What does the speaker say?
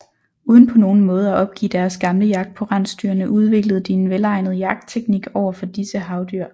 Uden på nogen måde at opgive deres gamle jagt på rensdyrene udviklede de en velegnet jagtteknik over for disse havdyr